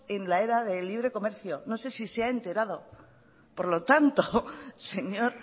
en la era del libre comercio no sé si se ha enterado por lo tanto señor